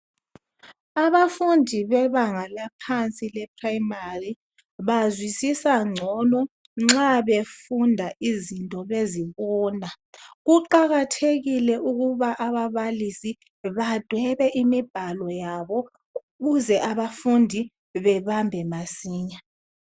Abafundi bebanga laphansi le primary, bazwisisa ngcono nxa befunda izinto bezibona. Kuqakathekile ukuba ababalisi badwebe imibhalo yabo ukuze abafundi bebambe masinya.